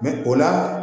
o la